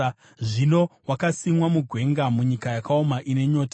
Zvino wakasimwa mugwenga, munyika yakaoma ine nyota.